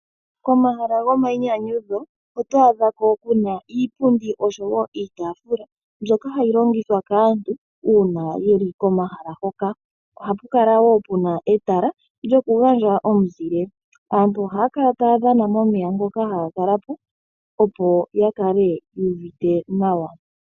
Komahala gomainyanyudho oto adha ko kuna iipundi oyindji oshowo iitafula mbyoka hayi longithwa kaantu uuna yeli komahala hoka ohaku kala wo kuna etala lyoku gandja omizile opo aantu ngele taya kuutumbamo, aantu ohaya kala taya dhana momeya ngoka haga kala po opo ya kale yu uvite nawa.